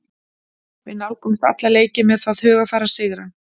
Við nálgumst alla leiki með það hugarfar að sigra.